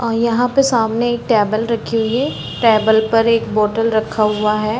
और यहाँ पर सामने एक टेबल रखी हुई है। टेबल पर एक बौटल रखा हुआ है।